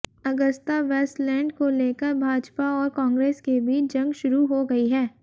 Agusta Westland को लेकर भाजपा और कांग्रेस के बीच जंग शुरू हो गई है